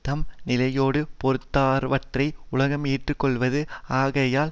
தம் நிலையோடு பொருந்தாதவற்றை உலகம் ஏற்றுக்கொள்ளாது ஆகையால்